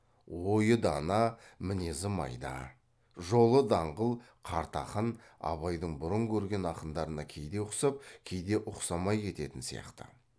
ойы дана мінезі майда жолы даңғыл қарт ақын абайдың бұрын көрген ақындарына кейде ұқсап кейде ұқсамай кететін сияқты